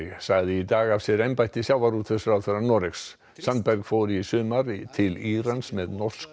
sagði í dag af sér embætti sjávarútvegsráðherra Noregs fór í sumar til Írans með norsk